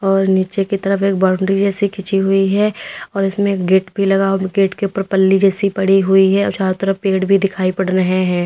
और नीचे की तरफ एक बाउंड्री जैसे खींची हुई है और उसमें गेट भी लगा गेट के ऊपर पल्ली जैसी पड़ी हुई है चारों तरफ पेड़ भी दिखाई पड़ रहे हैं।